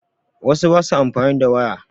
Wasu ba su amfani da waya